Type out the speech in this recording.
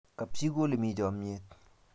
kap chii ko ole mi chamiyet